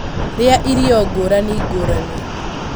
Rĩa irio ngũrani ngũrani